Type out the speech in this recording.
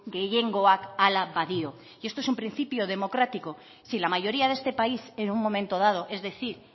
gehiengoak hala badio y esto es un principio democrático si la mayoría de este país en un momento dado es decir